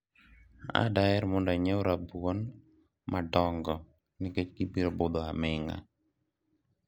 adaher mondo inyiew rabuon madongo nikech gibiro budho aminga